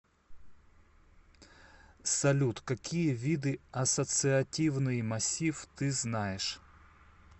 салют какие виды ассоциативный массив ты знаешь